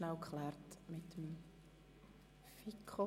Kommissionssprecherin der FiKo.